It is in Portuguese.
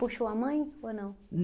Puxou a mãe ou não?